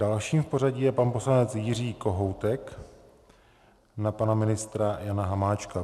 Dalším v pořadí je pan poslanec Jiří Kohoutek na pana ministra Jana Hamáčka.